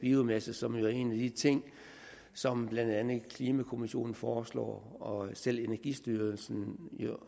biomasse som jo er en af de ting som blandt andet klimakommissionen foreslår og selv energistyrelsen